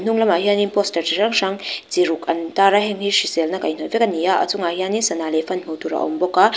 hnung lamah hianin pawstar chi hrang hrang chi ruk an tar a heng hi hriselna kaihhnawih vek a ni a a chungah hianin sana leh fan hmuh tur a awm bawk a